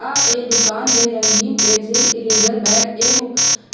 आ ऐ दुकान में रंगीन पेंसिल इरेज़र बैग एवं